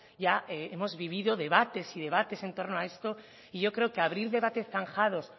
ya hemos vivido debates y debates en torno a esto y yo creo que abrir debates zanjados